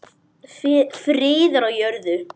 Friður á jörðu.